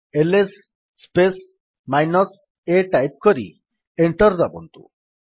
is space minus a type କରି enter ଦାବନ୍ତୁ